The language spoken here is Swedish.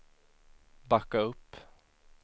backa upp